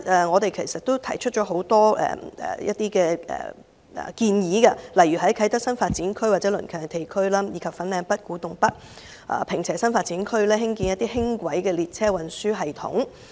我們提出了很多建議，例如在啟德新發展區及鄰近地區，以及粉嶺北、古洞北、坪輋新發展區興建輕軌列車運輸連接系統。